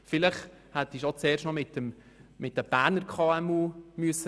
Vielleicht hätte Sie zuerst noch mit den Berner KMU sprechen müssen.